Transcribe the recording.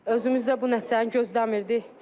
Özümüzdə bu nəticəni gözləmirdik.